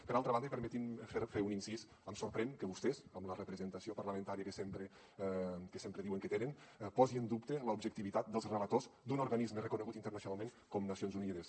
per altra banda i permeti’m fer un incís em sorprèn que vostès amb la representació parlamentària que sempre diuen que tenen posi en dubte l’objectivitat dels relators d’un organisme reconegut internacionalment com nacions unides